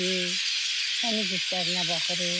Təmiz işlərinə baxırıq.